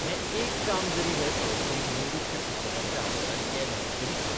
हें एक काम जरी हे संस्थेन निवृत्त शिक्षकांच्या आदारान केलें तरी पुरो.